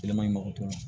Kɛlɛ maɲi mɔgɔ tɛ yen